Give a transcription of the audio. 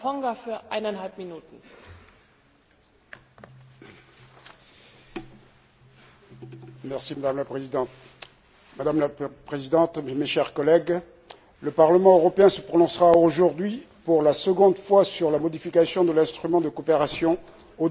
Madame la Présidente, mes chers collègues, le Parlement européen se prononcera aujourd'hui pour la seconde fois sur la modification de l'instrument de coopération au développement prévoyant la mise en place des mesures d'accompagnement dans le secteur de la banane pour les principaux producteurs des pays ACP.